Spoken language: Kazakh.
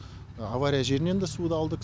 авария жерінен де суды алдық